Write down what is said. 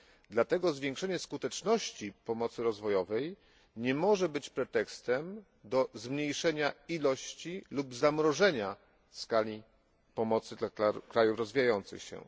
Dlatego zwiększenie skuteczności pomocy rozwojowej nie może być pretekstem do zmniejszenia ilości lub zamrożenia skali pomocy dla krajów rozwijających się.